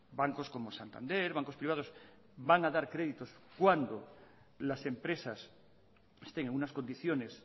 bancos como santander bancos privados van a dar créditos cuando las empresas estén en unas condiciones